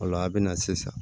O la a bɛ na sisan